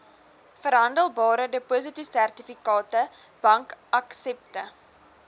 verhandelbare depositosertifikate bankaksepte